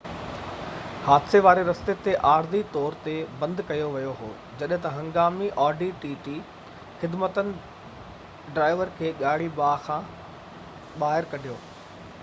حادثي واري رستي کي عارضي طور تي بند ڪيو ويو هو جڏهن تہ هنگامي خدمتن ڊرائيور کي ڳاڙهي audi tt کان ٻاهر ڪڍيو